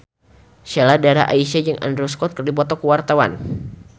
Sheila Dara Aisha jeung Andrew Scott keur dipoto ku wartawan